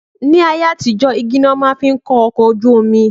Ni ayé àtijó igi ni wọn máa fín kó ọkọ̀ ojú omi